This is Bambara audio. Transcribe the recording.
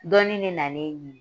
Dɔnnin de na n'e ɲini.